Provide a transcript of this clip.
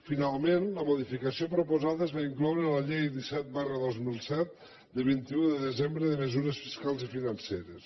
finalment la modificació proposada es va incloure en la llei disset dos mil set de vint un de desembre de mesures fiscals i financeres